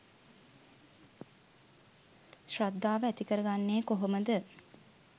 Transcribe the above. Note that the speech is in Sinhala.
ශ්‍රද්ධාව ඇති කරගන්නේ කොහොමද?